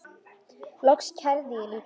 Loks kærði ég líka.